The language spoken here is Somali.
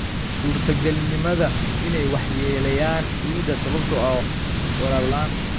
Suurtagalnimada in ay waxyeeleeyaan ciidda sababtoo ah waraab la'aan.